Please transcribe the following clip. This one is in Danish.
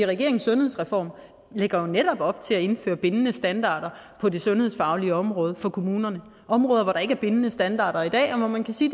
regeringens sundhedsreform lægger jo netop op til at indføre bindende standarder på det sundhedsfaglige område for kommunerne områder hvor der ikke er bindende standarder i dag og hvor man kan sige